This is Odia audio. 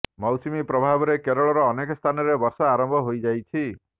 ମୌସୁମୀ ପ୍ରଭବାରେ କେରଳର ଅନେକ ସ୍ଥାନରେ ବର୍ଷା ଆରମ୍ଭ ହୋଇଯାଇଛି